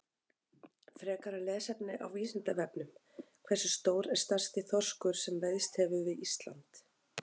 Frekara lesefni á Vísindavefnum: Hversu stór er stærsti þorskur sem veiðst hefur við Ísland?